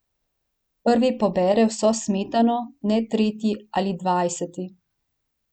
Prvi pobere vso smetano, ne tretji ali dvajseti.